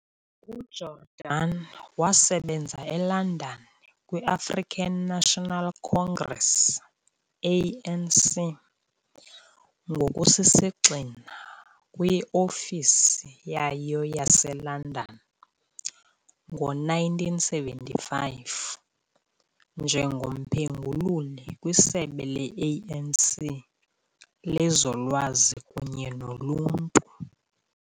UJordani wasebenza eLondon kwi-African National Congress, ANC, ngokusisigxina kwi-ofisi yayo yaseLondon ngo-1975 njengomphengululi kwiSebe le-ANC lezoLwazi kunye noLuntu.